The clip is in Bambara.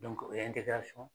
o ye